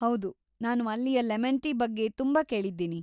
ಹೌದು, ನಾನು ಅಲ್ಲಿಯ ಲೆಮೆನ್‌ ಟೀ ಬಗ್ಗೆ ತುಂಬಾ ಕೇಳಿದ್ದೀನಿ.